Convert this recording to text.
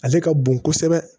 Ale ka bon kosɛbɛ